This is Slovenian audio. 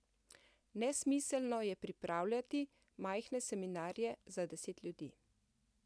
Nesmiselno je pripravljati majhne seminarje za deset ljudi.